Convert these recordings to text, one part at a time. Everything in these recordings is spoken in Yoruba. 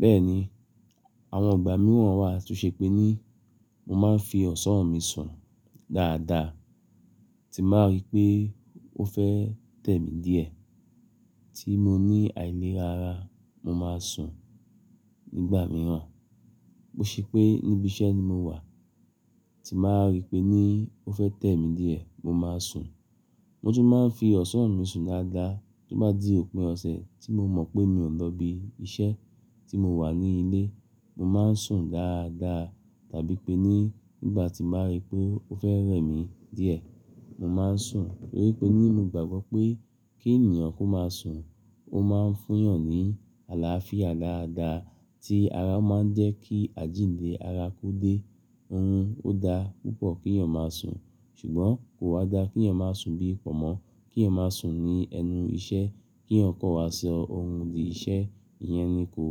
Bẹ́ẹ̀ni, àwọn ìgbà mìíràn wà tó ṣe pé ní mo máa ń fi ọ̀sán mi sùn dáadáa, tí màá rí pé ó fẹ́ tẹ̀ mí díẹ̀ tí mo ní àìlera ara, mo máa sùn. Ní ìgbà mìíràn bó ṣe pé níbi iṣẹ́ ni mo wà tí màá rí pé ní ó fẹ́ tẹ̀ mí díẹ̀, mo máa sùn. Mo tún máa ń fi ọ̀sán mi sùn dáadáa tó bá di òpin ọ̀sẹ̀ tí mo mọ̀ pé mi ò lọ ibi iṣẹ́ tí mo wà ní ilé, mo máa ń sùn dáadáa tàbí pé ní ìgbà tí màá rí pé ó fẹ́ rẹ̀ mí díẹ̀, mo máa ń sùn. Nítorí pé ní mo gbàgbọ́ pé kí ènìyàn kó máa sùn, ó máa ń fún yàn ní àlàáfíà dáadáa tí ara máa ń jẹ́ kí àjíǹde ara kú dé. Hmmm ó dá púpọ̀ kí èèyàn máa sùn ṣùgbọ́n kò wá dá kí èèyàn máa sùn bí i pọ̀nmọ́, kí èèyàn máa sùn ní ẹnu iṣẹ́ kí ó kọ́wọ́ ṣe ohun di iṣẹ́, ìyẹn ni kò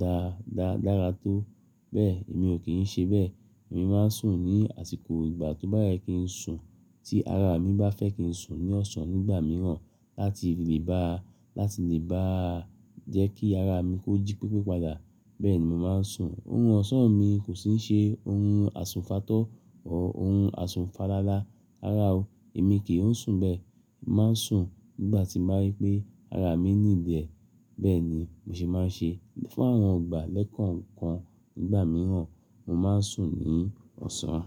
dáa dáadáa tó. Bẹ́ẹ̀ èmi ò kí ń ṣe bẹ́ẹ̀, èmi máa ń sùn ní àsìkò ìgbà tó bá yẹ kí n sùn tí ara mi bá fẹ́ kí n sùn ní ọ̀sán nígbà mìíràn láti lè bá, láti lè bá jẹ́ kí ara mi ó jí pípé padà, bẹ́ẹ̀ ni mo máa ń sùn. Orun ọ̀sán mi kò sì ń ṣe orun àsùnfàtọ́ ọ orun àsùnfàlálá. Rárá o, èmi kì í sùn bẹ́ẹ̀, èmi máa ń sùn nígbà tí màá rí pé ara mi need e bẹ́ẹ̀ ni mo sì máa ń ṣe. Fún àwọn ìgbà lẹ́kọ̀ọ̀kan nígbà mìíràn mo máa ń sùn ní ọ̀sán.